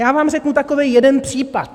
Já vám řeknu takový jeden případ.